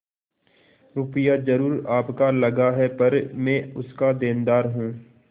रुपया जरुर आपका लगा पर मैं उसका देनदार हूँ